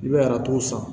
I bɛ aratu san